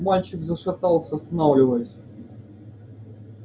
мальчик зашатался останавливаясь